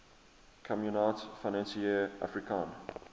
communaute financiere africaine